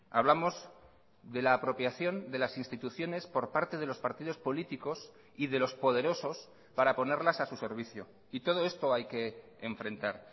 hablamos de la apropiación de las instituciones por parte de los partidos políticos y de los poderosos para ponerlas a su servicio y todo esto hay que enfrentar